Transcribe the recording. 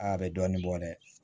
Aa a bɛ dɔɔnin bɔ dɛ